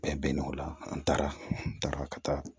Bɛn bɛ o la an taara n taara ka taa